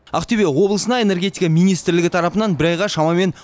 ақтөбе облысына энергетика министрлігі тарапынан бір айға шамамен